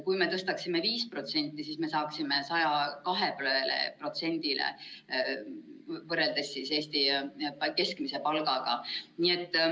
Kui me tõstaksime 5%, siis me saaksime 102%-le võrreldes Eesti keskmise palgaga.